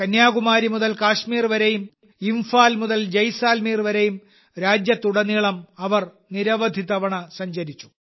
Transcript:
കന്യാകുമാരി മുതൽ കാശ്മീർ വരെയും ഇംഫാൽ മുതൽ ജയ്സാൽമീർ വരെയും രാജ്യത്തുടനീളം അവർ നിരവധി തവണ സഞ്ചരിച്ചു